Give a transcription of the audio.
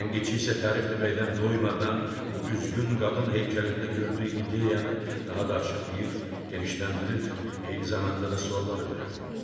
Tənqidçi isə tərif deməkdən doymadan bu üzgün qadın heykəlində gördüyü ideyanı daha da açıqlayır, genişləndirir, eyni zamanda da suallar verirdi.